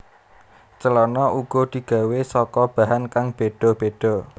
Celana uga digawé saka bahan kang béda béda